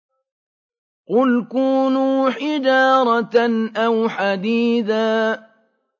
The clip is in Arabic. ۞ قُلْ كُونُوا حِجَارَةً أَوْ حَدِيدًا